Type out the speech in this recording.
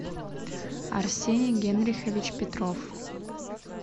арсений генрихович петров